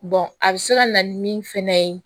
a bɛ se ka na ni min fɛnɛ ye